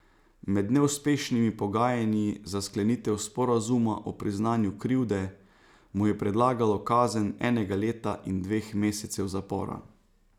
Med neuspešnimi pogajanji za sklenitev sporazuma o priznanju krivde mu je predlagalo kazen enega leta in dveh mesecev zapora.